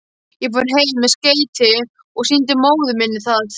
Ég fór heim með skeytið og sýndi móður minni það.